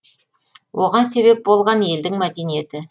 оған себеп болған елдің мәдениеті